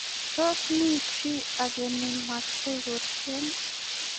Tos, mi chito age nemache kotyen?